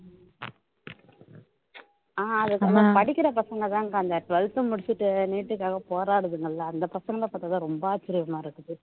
அஹ் அது கொஞ்சம் படிக்கிற பசங்க தான் அக்கா அந்த twelfth முடிச்சுட்டு neet க்காக போராடுதுங்கல்ல அந்த பசங்களை பாத்தா தான் ரொம்ப ஆச்சர்யமா இருக்கு